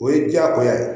O ye diyagoya ye